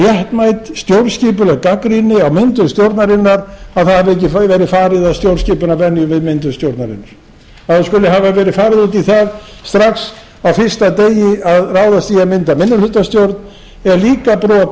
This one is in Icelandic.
réttmæt stjórnskipuleg gagnrýni á myndun stjórnarinnar að það hafi ekki verið farið að stjórnskipunarvenju við myndun stjórnarinnar að það skuli hafa verið farið út í það strax á fyrsta degi að ráðast í að mynda minnihlutastjórn er líka brot